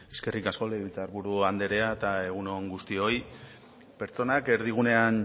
eskerrik asko legebiltzar buru andrea eta egun on guztioi pertsonak erdigunean